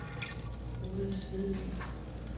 Ruds Vedby